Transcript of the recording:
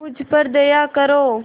मुझ पर दया करो